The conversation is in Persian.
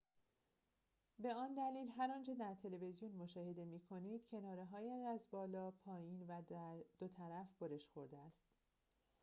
به آن دلیل هر آنچه در تلویزیون مشاهده می‌کنید کناره‌هایش از بالا پایین و دو طرف برش خورده است